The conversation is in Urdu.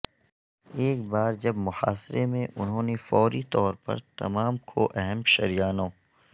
ایک بار جب محاصرے میں انہوں نے فوری طور پر تمام کھو اہم شریانوں